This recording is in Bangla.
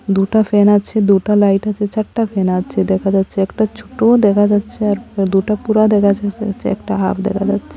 দুটা ফ্যান আছে দুটা লাইট আছে চারটা ফ্যান আছে দেখা যাচ্ছে একটা ছোটও দেখা যাচ্ছে আর দুটা পুরা দেখা যাচ্ছে একটা হাফ দেখা যাচ্ছে।